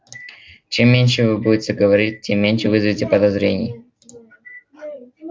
чем меньше вы будете говорить тем меньше вызовете подозрений